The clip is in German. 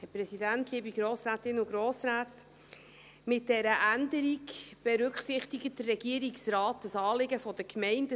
Mit dieser Änderung berücksichtigt der Regierungsrat das Anliegen der Gemeinden.